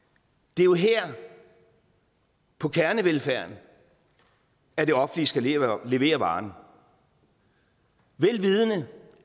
det er jo her på kernevelfærden at det offentlige skal levere levere varen vel vidende